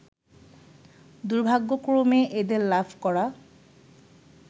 দুর্ভাগ্যক্রমে এদের লাভ করা